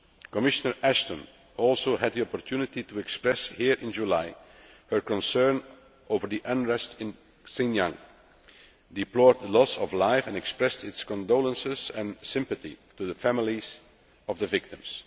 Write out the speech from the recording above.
Commissioner Ashton also had the opportunity to express, here in July, her concern over the unrest in Xinjiang, deplore the loss of life and express her condolences and sympathy to the families of the victims.